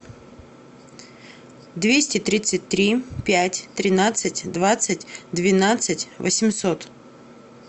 двести тридцать три пять тринадцать двадцать двенадцать восемьсот